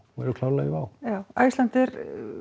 og eru klárlega í Wow já Icelandair